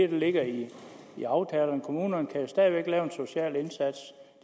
ligger i aftalen kommunerne kan jo stadig væk lave en social indsats